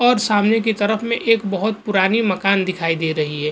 और सामने के तरफ में एक बहुत पुरानि मकान दिखाई दे रही है।